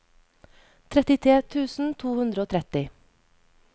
trettitre tusen to hundre og tretti